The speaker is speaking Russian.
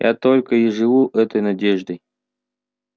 я только и живу этой надеждой